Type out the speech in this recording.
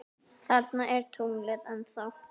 Þarna er tunglið ennþá.